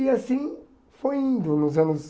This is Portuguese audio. E assim foi indo nos anos...